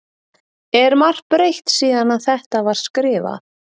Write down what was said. Er margt breytt síðan að þetta var skrifað?